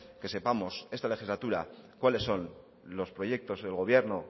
que sepamos esta legislatura cuáles son los proyecto del gobierno